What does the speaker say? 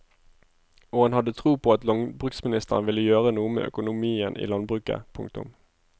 Og han hadde tro på at landbruksministeren vil gjøre noe med økonomien i landbruket. punktum